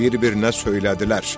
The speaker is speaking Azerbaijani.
Bir-birinə söylədilər: